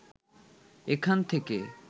এখান থেকে